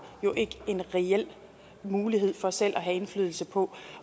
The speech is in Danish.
jo ikke en reel mulighed for selv at have indflydelse på